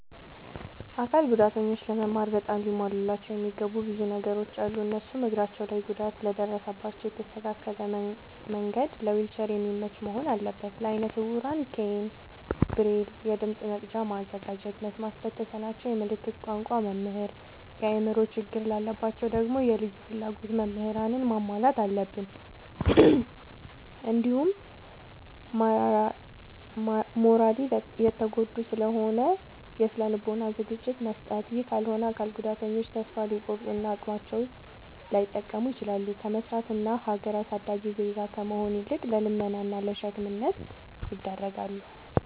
አካል ጉዳተኞች ለመማር በጣም ሊሟሉላቸው የሚገቡ ብዙ ነገሮ አሉ። እነሱም፦ እግራቸው ላይ ጉዳት ለደረሰባቸው የተስተካከለ መንድ ለዊልቸር የሚመች መሆን አለበት። ለአይነ ስውራን ኬይን፣ ብሬል፤ የድምፅ መቅጃ ማዘጋጀት፤ መስማት ለተሳናቸው የምልክት ቋንቋ መምህር፤ የአእምሮ ችግር ላለባቸው ደግሞ የልዩ ፍላጎት ምህራንን ማሟላት አለብትን። እንዲሁም ማራሊ የተጎዱ ስለሆኑ የስነ ልቦና ዝግጅት መስጠት። ይህ ካልሆነ አካል ጉዳተኞች ተሰፋ ሊቆርጡ እና አቅማቸውን ላይጠቀሙ ይችላሉ። ከመስራት እና ሀገር አሳዳጊ ዜጋ ከመሆን ይልቅ ለልመና እና ለሸክምነት ይዳረጋሉ።